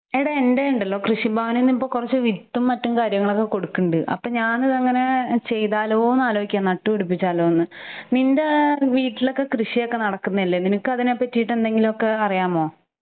എട എന്റെയൊണ്ടല്ലൊ കൃഷിഭവനീന്ന് ഇപ്പം വിത്തും മറ്റുംകാര്യങ്ങളൊക്കെ കൊടുക്കണ്ട്. അപ്പഞാനതങ്ങനെ ചെയ്താലോന്ന് ആലോചിക്കുക നട്ടുപിടിപ്പിച്ചാലോന്ന് . നിന്റേ വീട്ടിലൊക്കെ കൃഷിയൊക്കെ നടക്കന്നഅല്ലെ നിനക്കതിനെപറ്റീട്ട് എന്തെങ്കിലൊക്കെ അറിയാമോ?